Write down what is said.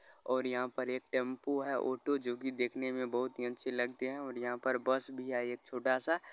और यहा पर एक टेम्पो है ऑटो जो की देखने मे बहुत ही अच्छी लगती है और बस भी आई है छोटा सा।